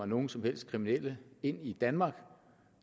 nogen som helst kriminelle ind i danmark